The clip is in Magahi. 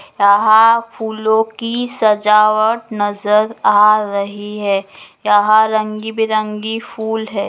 यहाँ फूलों की सजावट नजर आ रही है यहाँ रंग बिरंगी फूल है ।